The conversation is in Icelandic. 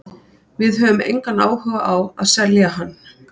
Við höfum engan áhuga á að selja hann.